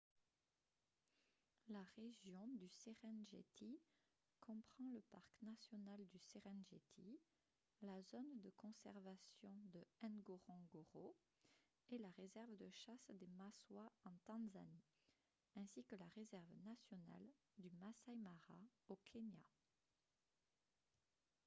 la région du serengeti comprend le parc national du serengeti la zone de conservation de ngorongoro et la réserve de chasse des maswa en tanzanie ainsi que la réserve nationale du masai mara au kenya